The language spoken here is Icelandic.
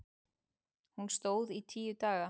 Hún stóð í tíu daga.